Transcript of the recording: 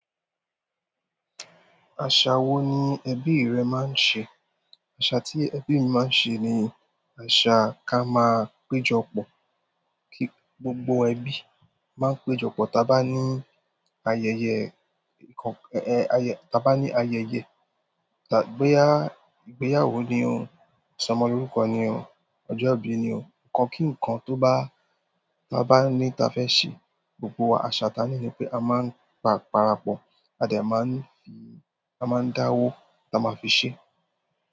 Àṣà wo ni ẹbí rẹ máa ń ṣe? Àṣà ti ebí mi maa n ṣe ni, àṣà ka maa péjọ pọ̀. Kí gbogbo ẹbí máa ń péjọpọ̀. Taa bá ní ayẹyẹ, boya ìgbéyàwó ni o, ìsọmọlórúkọ ni o, ọjọ́ ìbí ni o, ǹkan kí ǹkan ta ba ní ta fẹ́ ṣe, gbogbo wa, àṣà ta ni wípé a máa ń para pọ̀, a dẹ̀ máa ń a máa ń dáwó ta máa fi ṣe.